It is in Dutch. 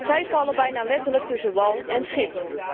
Zij vallen bijna letterlijk tussen wal en schip.